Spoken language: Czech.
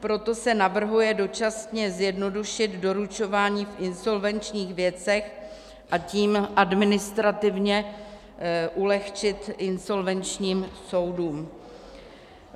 Proto se navrhuje dočasně zjednodušit doručování v insolvenčních věcech, a tím administrativně ulehčit insolvenčním soudům.